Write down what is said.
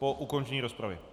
Po ukončení rozpravy.